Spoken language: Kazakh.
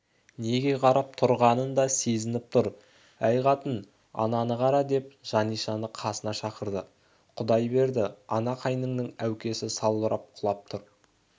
неге қарап тұрғанын да сезініп тұр әй қатың ананы қара деп жанишаны қасына шақырды құдай берді ана қайныңның әукесі салбырап құлап тұр